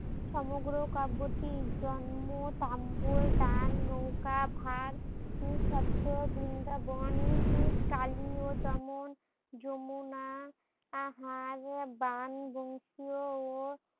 সমগ্র কাব্যটির জন্ম টাম্বল দান নৌকা ভার ও স্বচ্ছ বৃন্দাবন উম কালিওদমন যমুনা আহার বান বংশীয় ও